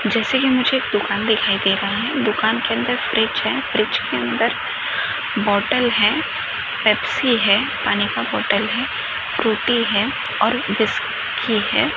जेसे की मुझे एक दूकान दिखाई दे रहा है दूकान के अन्दर फ्रिज है फ्रिज के अन्दर बोटल है पेप्सी है पानी का बोटल है फ्रूटी है और बिस की है।